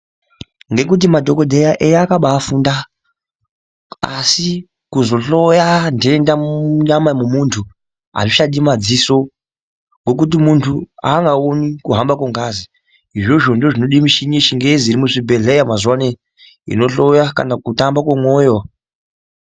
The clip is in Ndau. Ngekuti madhokodheya eya akabafunda asi kuzohloya nhenda munyama mwemuntu azvichadi madziso ngokuti muntu angawoni kuhamba kwengazi izvozvo ndozvinode mishini yechingezi iri muzvibhehlera mazuwa anoyi inohloya kana kutamba kwemoyo.